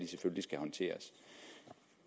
selvfølgelig skal håndteres